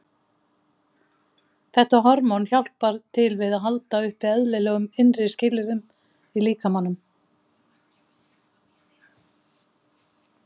Þetta hormón hjálpar til við að halda uppi eðlilegum innri skilyrðum í líkamanum.